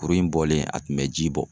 Kurun in bɔlen a tun bɛ ji bɔ.